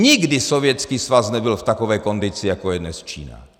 Nikdy Sovětský svaz nebyl v takové kondici, jako je dnes Čína.